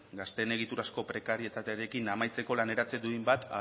gazteen egiturazko prekarietatearekin amaitzeko laneratze duin bat